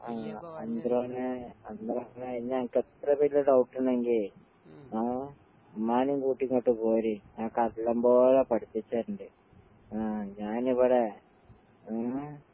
ആഹ് അതിനകത്തെ വല്ല ഡൗട്ടിണ്ടങ്കിയേ ആഹ് ഉമ്മാനേം കൂട്ടി ഇങ്ങട്ട് പോര്, നിനക്കല്ലം പോലെ പഠിപ്പിച്ചരിണ്ട്. ആഹ് ഞാനിവടെ ഏഹ്